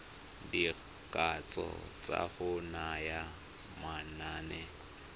dikatso tsa go naya manane